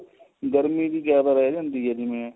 ਗਰਮੀ ਵੀ ਰਹਿ ਜਾਂਦੀ ਹੈ ਨਾ ਜਿਵੇਂ